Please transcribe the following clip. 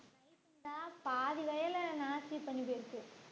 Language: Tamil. அதான் பாதி வயலை நாஸ்தி பண்ணி போயிருச்சு